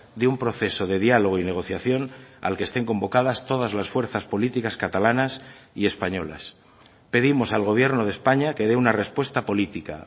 de un proceso de diálogo y negociación al que estén convocadas todas las fuerzas políticas catalanas y españolas pedimos al gobierno de españa que dé una respuesta política